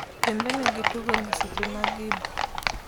dhi mbele gi tugo nyseche mg igbo